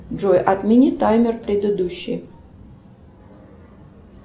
джой отмени таймер предыдущий